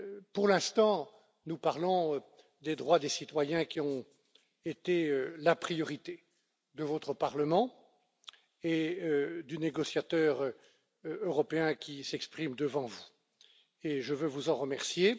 Pour l'instant, nous parlons des droits des citoyens, qui ont été la priorité de votre Parlement et du négociateur européen qui s'exprime devant vous et je veux vous en remercier.